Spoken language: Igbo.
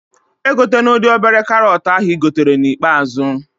Egotena ụdị obere karọt ahụ ị gotere na ikpeazụ